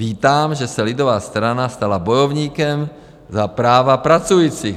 Vítám, že se lidová strana stala bojovníkem za práva pracujících.